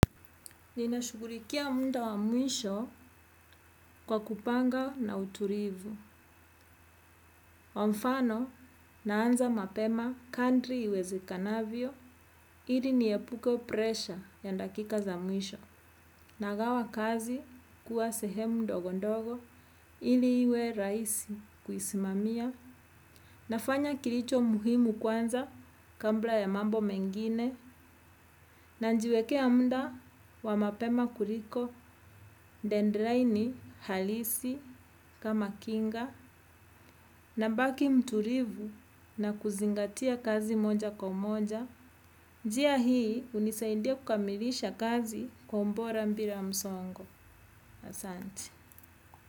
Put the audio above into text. Ninashughulikia muda wa mwisho kwa kupanga na uturivu. Kwa mfano naanza mapema kandri iwezekanavyo, ili niepuke pressure ya dakika za mwisho. Nagawa kazi kuwa sehemu ndogo ndogo, ili iwe raisi kuisimamia. Nafanya kilicho muhimu kwanza, kabla ya mambo mengine. Nanjiwekea mda wa mapema kuriko, dendlaini, halisi, kama kinga, nabaki mturivu na kuzingatia kazi moja kwa moja. Njia hii hunisaidia kukamilisha kazi kwa umbora mbira msongo. Asante.